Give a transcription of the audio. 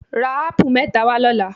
Ra ápù mẹ́ta wá lọ́la.